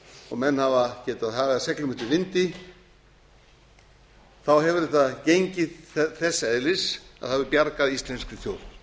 og menn hafa getað hagað seglum eftir vindi hefur þetta gengið þess eðlis að það hefur bjargað íslenskri þjóð